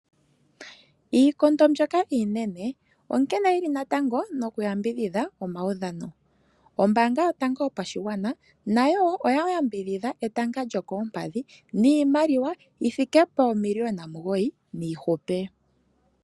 Iikondo mbyoka iinene onkene yili natango noku yambidhidha omaudhano. Ombaanga yotango yopashigwana nayo wo oya yambidhidha etanga lyokoompadhi niimaliwa yi thike poomiliyona omugoyi niihupe.